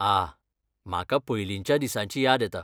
आह, म्हाका पयलींच्या दिसांची याद येता.